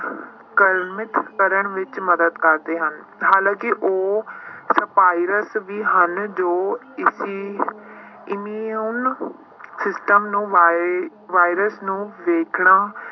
ਕਰਮਿਤ ਕਰਨ ਵਿੱਚ ਮਦਦ ਕਰਦੇ ਹਨ ਹਾਲਾਂਕਿ ਉਹ ਵੀ ਹਨ ਜੋ immune system ਨੂੰ ਵਾਇ~ ਵਾਇਰਸ ਨੂੰ ਦੇਖਣਾ